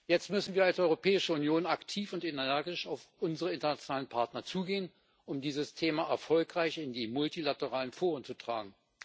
Jetzt müssen wir als Europäische Union aktiv und energisch auf unsere internationalen Partner zugehen, um dieses Thema erfolgreich in die multilateralen Foren zu tragen.